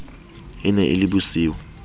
e ne e le bosiu